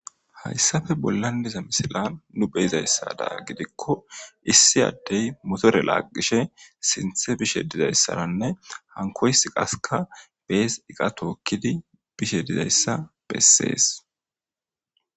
Hayssafe bollan diza misila nu be7izayssada gidikko issi addey motore laaggishe sinthe bishe dizayssaranne hankoysi qaskka bees iqa tookkidi bishe dizayssa bessees.